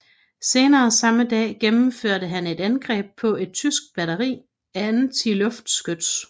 Senere samme dag gennemførte han et angreb på et tysk batteri antiluftskyts